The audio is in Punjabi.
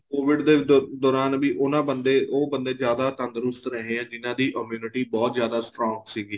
COVID ਦੇ ਦੋਰਾਨ ਵੀ ਉਹਨਾ ਬੰਦੇ ਉਹ ਬੰਦੇ ਜਿਆਦਾ ਤੰਦਰੁਸਤ ਰਹੇ ਏ ਜਿਹਨਾ ਦੀ immunity ਬਹੁਤ ਜਿਆਦਾ strong ਸੀਗੀ